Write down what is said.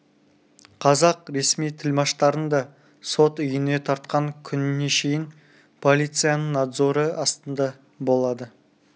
қазақ ресми тілмаштарын да сот үйіне тартқан күніне шейін полицияның надзоры астында болады